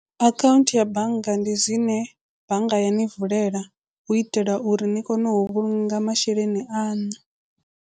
Akhaunthu ya bannga ndi zwine bannga ya ni vulela hu itela uri ni kone u vhulunga masheleni aṋu.